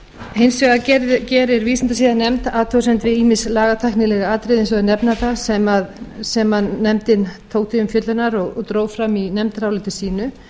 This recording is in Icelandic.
hins vegar gerir vísindasiðanefnd athugasemd við ýmis lagatæknileg atriði eins og að sem nefndin tók til umfjöllunar og dró fram í nefndaráliti sínu